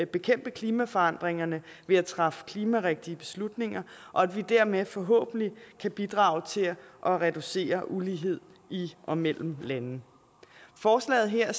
bekæmpe klimaforandringerne ved at træffe klimarigtige beslutninger og at vi dermed forhåbentlig kan bidrage til at reducere ulighed i og mellem lande forslaget her